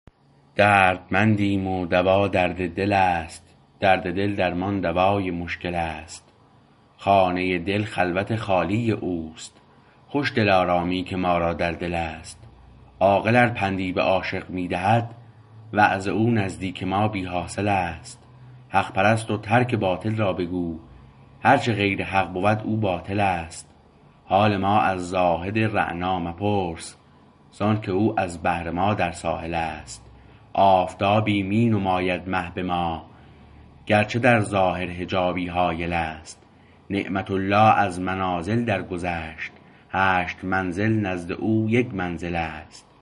دردمندیم و دوا درد دل است درد دل درمان دوای مشکل است خانه دل خلوت خالی اوست خوش دلارامی که ما را در دلست عاقل ار پندی به عاشق می دهد وعظ او نزدیک ما بی حاصل است حق پرست و ترک باطل را بگو هرچه غیر حق بود او باطل است حال ما از زاهد رعنا مپرس زآنکه او از بحر ما در ساحل است آفتابی می نماید مه به ما گرچه در ظاهر حجابی حایل است نعمت الله از منازل درگذشت هشت منزل نزد او یک منزل است